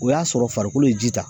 O y'a sɔrɔ farikolo ye ji ta